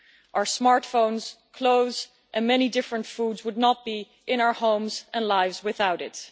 Our smartphones, clothes and many different foods would not be in our homes and lives without it.